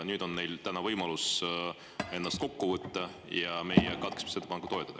Nüüd on neil täna võimalus ennast kokku võtta ja meie katkestamisettepanekut toetada.